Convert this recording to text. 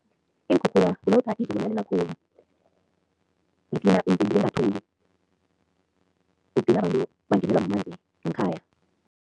Iinkhukhula kulokha izulu nalina khulu bangenelwa mamanzi ngekhaya.